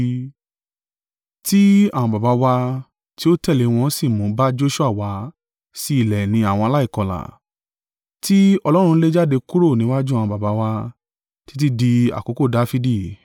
Ti àwọn baba wa tí ó tẹ̀lé wọn sí mú bá Joṣua wá sí ilẹ̀ ìní àwọn aláìkọlà, tí Ọlọ́run lè jáde kúrò níwájú àwọn baba wa, títí dí àkókò Dafidi.